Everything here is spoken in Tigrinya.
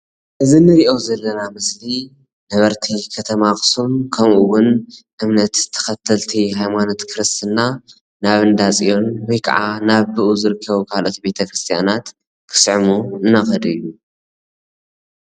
እዚ ንሪኦ ዘለና ምስሊ ነበርቲ ከተማ ኣኽሱም ከምኡ ውን እምነት ተኸተልቲ ሃይማኖት ክርስትና ናብ እንዳ ፅዮን ወይ ካዓ ናብ ብኡ ዝርከቡ ካልኦት ቤተ-ክርስትያናት ክስዕሙ እናኸዱ እዮም፡፡